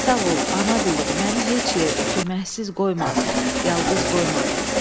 Sağ ol, ana dilim, məni heç yerdə köməksiz qoymadın, yalqız qoymadın.